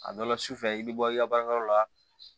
A dɔ la sufɛ i bi bɔ i ka baarayɔrɔ la